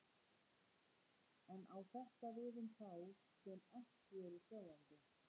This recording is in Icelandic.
En á þetta við um þá sem ekki eru sjáandi?